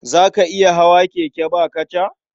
Za ka iya hawa keke ba kaca?